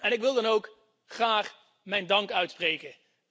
Ik wil dan ook graag mijn dank uitspreken.